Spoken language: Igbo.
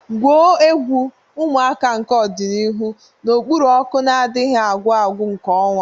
Gwuo egwu, ụmụaka nke ọdịnihu, n'okpuru ọkụ na-adịghị agwụ agwụ nke ọnwa.